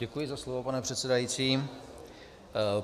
Děkuji za slovo, pane předsedající.